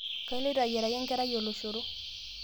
kaloito ayiaraki enkerai oloshoro